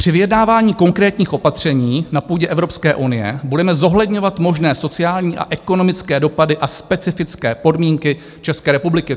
"Při vyjednávání konkrétních opatření na půdě Evropské unie budeme zohledňovat možné sociální a ekonomické dopady a specifické podmínky České republiky."